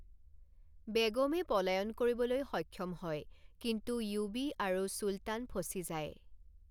বেগমে পলায়ন কৰিবলৈ সক্ষম হয়, কিন্তু য়ুৱী আৰু চুলতান ফচি যায়।